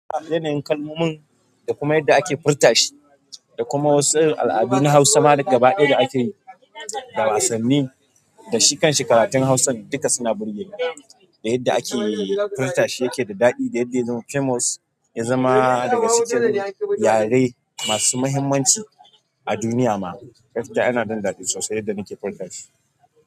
Yana yin kalmomin da kuma yadda ake furta shi da kuma wasu al'adu na Hausa ma daga baya da ake da wasanni da shi kanshi karatun hausan duka suna burgeni da yadda ake furta shi yake da daɗi da yadda yazama famous yazama dagacikin yare masu mahimmanci a duniya ma gaskiya yana mun daɗi sosai yadda nake furta shi.